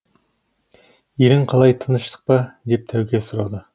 елің қалай тыныштық па деп тәуке сұрады